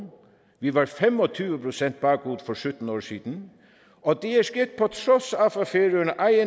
vi var fem og tyve procent bagud for sytten år siden og det er sket på trods